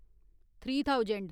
three thousand